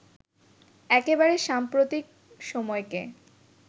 একেবারে সাম্প্রতিক সময়কে